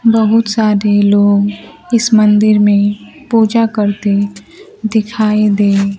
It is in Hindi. बहुत सारे लोग इस मंदिर में पूजा करते दिखाई दे--